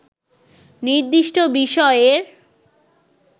নির্দিষ্ট বিষয়ের